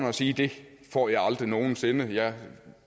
og sige det får jeg aldrig nogen sinde jeg